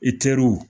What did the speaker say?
I teriw